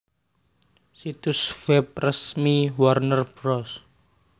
Situs web resmi Warner Bros